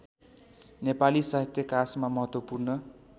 नेपाली साहित्यकाशमा महत्त्वपूर्ण